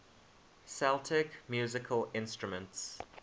celtic musical instruments